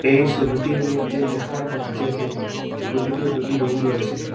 এই সোবিটির মইধ্যে দেখা যাচ্ছে যে ছোট ছোট দুটি রুম রয়েসে।